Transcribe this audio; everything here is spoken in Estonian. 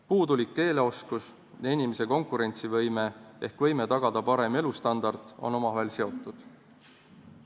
Puudulik keeleoskus ja inimese konkurentsivõime ehk võime tagada parem elustandard on omavahel seotud.